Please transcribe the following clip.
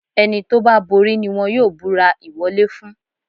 Ẹni tó bá borí ni wọ́n yóò búrà ìwọlé fún.